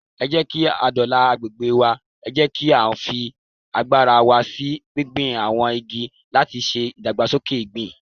Ẹ jẹ́kí á dóòlà agbègbè wa, ẹ jẹ́ kí á fi agbára wa sí gbígbin àwọn igi látiṣe ìdàgbàsókè ìgbẹ́.